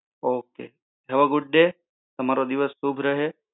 okay